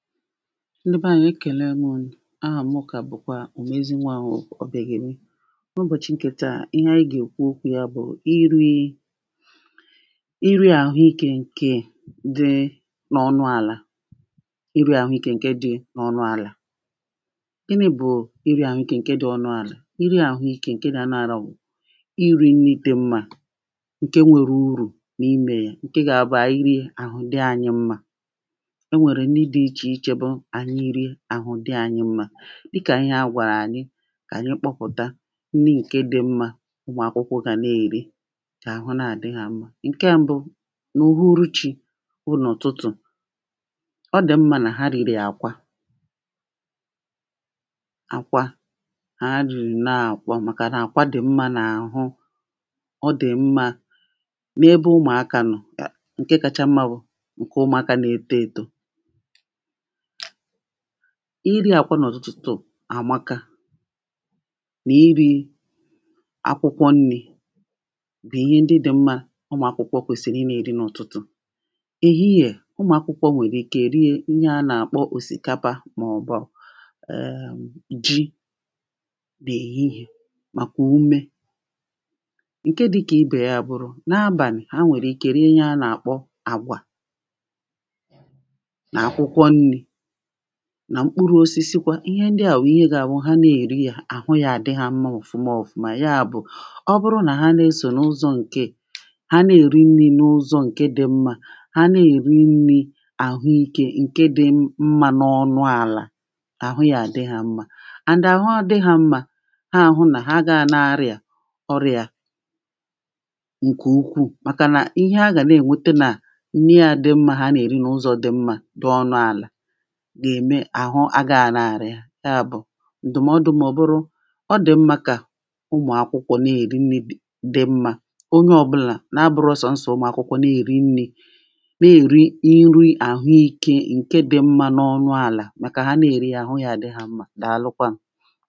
Ndi bẹ anyi̇ e kelem ụnụ̀ aha mụ ka bụ̀kwa ụ̀mezinwawụ̀ ọ̀bìageli na ụbọ̀chi nke taa ihe anyi ga e kwụ okwụ ya bụ̀ i ri̇ i iri̇ a hụ ikė nke di n’ọnụ ala iri̇ ahụ ikė nke di n’ọnụ ala. Gini bụ iri̇ ahụ ikė nke di̇ ọnụ ala? Iri̇ ahụ ikė nke na iri̇ nni di mma nke nwėrė ụrụ̀ na ime ya nke gaa bụ̀ anyi ri̇e ahụ di anyi mma. Enwere nni di iche iche bụ anyị rie ahụ̀ di anyị mma dịka ihe a gwara anyị ka anyị kpọpụ̀ta nni nke di̇ mma ụmụ̀akwụkwọ ga na-eri ka ahụ na-adị ha mma. Nke m̀bụ n’ụ̀hụrụ chi̇ bụ na ụ̀tụtụ̀ ọdì mma na ha rìrì akwa akwa ha rìrụna akwa maka na-akwa dì mma na ahụ ọ dì mma n’ebe ụmụ̀aka nọ̀ nke kacha mma bụ̀ nke ụmụ̀aka na-eto eto iri akwa n'ụ̀tụtụ̀ amaka na iri̇ akwụkwọ nni̇ bụ̀ ihe ndị dị̇ mma ụmụ̀ akwụkwọ kwesìrì inė eri n’ụ̀tụtụ̀ ehihẹ̀ ụmụ̀ akwụkwọ nwere ike rie nni a na akpọ ọ̀sìkapa ma ọ̀ bụ̀ um ji n'ehihe maka ụmė nke dị̇ ka ibe ya abụrụ na abalị̀ ha nwere ike rie ihe a na akpọ agwa na akwụkwọ nni na mkpụrụ osisikwa ihe ndịa wụ̀ ihe ga awụ ha na-eri a ahụ ya adị ha mma ọ̀fụma ọ̀fụma ya bụ̀ ọ bụrụ na ha na-esọ̀ n’ụzọ̇ nkee ha na-eri nni̇ n’ụzọ̇ nke dị mma ha na-eri nni̇ ahụ ikė nke dị mma n’ọnụ ala ahụ ya adị ha mma and ahụ a dị ha mma ha ahụ na ha gaa na-arịa ọrịa nke ụkwụụ̀ maka na ihe ha ga na-enwete na nni a dị mma ha na-eri na ụzọ̇ dị mma dị ọnụ ala ga eme ahụ a ga ana arị ya bụ̀ ndụ̀mọdụ m ọ̀ bụrụ ọ dị̀ mma ka ụmụ̀ akwụkwọ na eri nni̇ di mma onye ọbụla na abụrọ sọ̀nsọ̀ ụmụ̀ akwụkwọ na eri nni̇ na eri nri ahụ ikė nke di̇ mma n’ọnụ ala maka ha na eri ya ahụ ya adị ha mma daalụkwa n